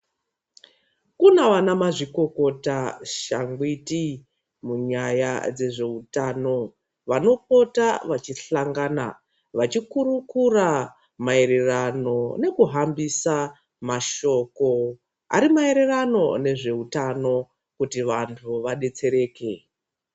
Kune ana mazvikokota, shangwiti munyaya dzezveutano vanopota vachinhangana vachikurukura mayererano nekuhambisa mashoko ari mayererano nezveutano kuti vantu vadetsereke.